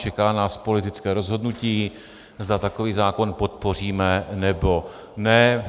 Čeká nás politické rozhodnutí, zda takový zákon podpoříme, nebo ne.